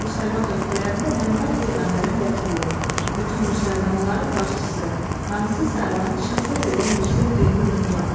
Bəzi müsəlman ölkələrində Məhəmməd peyğəmbərin vəkili, bütün müsəlmanların başçısı, hamisi sayılan şəxsə verilən yüksək dini ünvan.